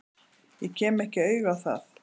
Ég kem ekki auga á það.